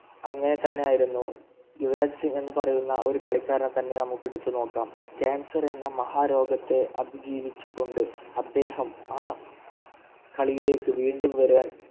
അങ്ങനെ തന്നെയായിരുന്നു യുവരാജ് സിംഗ് എന്ന് പറയുന്ന ഒരു കളിക്കാരൻ തന്നെ നമുക്ക് എടുത്തു നോക്കാം Cancer എന്ന മഹാരോഗത്തെ അതിജീവിച്ചുകൊണ്ട് അദ്ദേഹം ആ കളിയിലേക്ക് വീണ്ടും വരാൻ